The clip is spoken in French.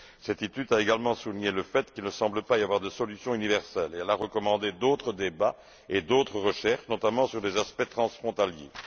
Cette étude a également souligné le fait qu'il ne semble pas y avoir de solution universelle et elle a recommandé d'autres débats et d'autres recherches, notamment sur les aspects transfrontaliers.